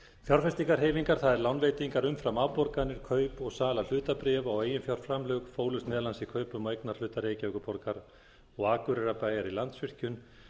fjárfestingarhreyfingar það er lánveitingar umfram afborganir kaup og sala hlutabréfa og eiginfjárframlög fólust meðal annars í kaupum á eignarhluta reykjavíkurborgar og akureyrarbæjar í landsvirkjun